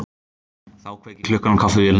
Þá kveikir klukkan á kaffivélinni